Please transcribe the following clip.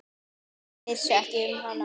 Ég vissi ekki um hana.